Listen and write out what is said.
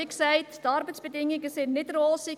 Wie gesagt, sind die Arbeitsbedingungen nicht rosig.